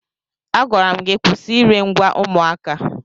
Agwara m gị kwụsị ire ngwa ụmụaka!